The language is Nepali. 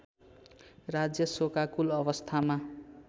राज्य शोकाकुल अवस्थामा